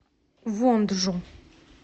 вонджу